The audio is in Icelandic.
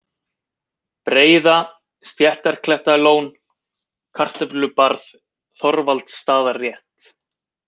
Breiða, Stéttarklettalón, Kartöflubarð, Þorvaldsstaðarétt